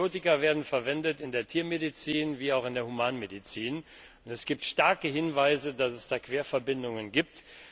Antibiotika werden sowohl in der Tiermedizin wie auch in der Humanmedizin verwendet. Es gibt starke Hinweise, dass es da Querverbindungen gibt.